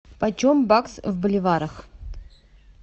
почем бакс в боливарах